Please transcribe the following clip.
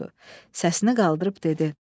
Səsini qaldırıb dedi.